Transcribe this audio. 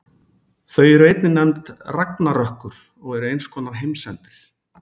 Þau eru einnig nefnd ragnarökkur og eru eins konar heimsendir.